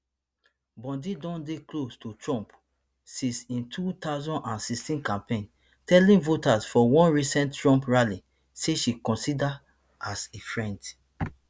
bondi don dey close to trump since im two thousand and sixteen campaign telling voters for one recent trump rally say she consider as a friend